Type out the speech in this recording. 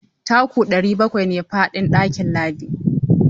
Taku ɗari bakwai ne faɗin ɗakin Ladidi.